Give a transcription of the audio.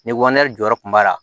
Ni jɔyɔrɔ kun b'a la